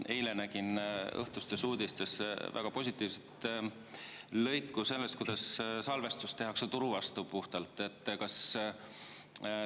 Eile nägin õhtustes uudistes väga positiivset lõiku sellest, kuidas salvestus tehakse puhtalt turu vastu.